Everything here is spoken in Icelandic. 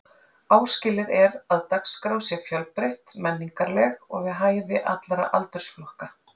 Áskilið er að dagskrá sé fjölbreytt, menningarleg og við hæfi allra aldursflokka.